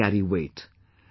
Your words carry weight